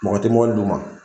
Mɔgɔ tɛ mobili d'u ma